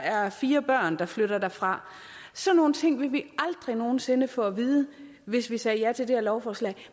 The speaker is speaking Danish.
er fire børn der flytter derfra sådan nogle ting ville vi aldrig nogen sinde få at vide hvis vi sagde ja til det her lovforslag